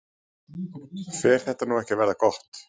Fer þetta nú ekki að verða gott?